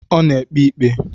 Ọ na-ekpe ikpe